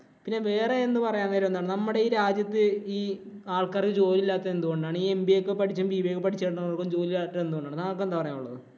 പിന്നെ വേറെ എന്തു പറയാൻ നേരമെന്നോ നമ്മുടെ ഈ രാജ്യത്ത് ഈ ആള്‍ക്കാര്‍ക്ക് ജോലി ഇല്ലാത്തത് എന്തുകൊണ്ടാണ്? ഈ MBA ഒക്കെ പഠിച്ചും. BBA ഒക്കെ പഠിച്ചും കൊണ്ട് വരുന്നവര്‍ക്ക് ജോലി ഇല്ലാത്തത് എന്താണ്? താങ്കള്‍ക്കു എന്താ പറയാന്‍ ഉള്ളത്?